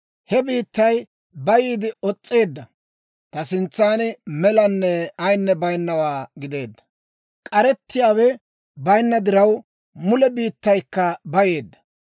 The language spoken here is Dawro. He biittay bayiide os's'eedda; ta sintsan melanne ayinne baynawaa gideedda. K'arettiyaawe bayinna diraw, mule biittaykka bayeedda.